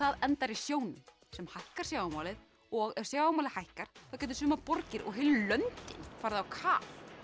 endar í sjónum sem hækkar sjávarmálið og ef sjávarmálið hækkar geta sumar borgir og heilu löndin farið á kaf